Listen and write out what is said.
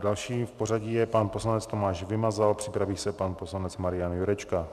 Dalším v pořadí je pan poslanec Tomáš Vymazal, připraví se pan poslanec Marian Jurečka.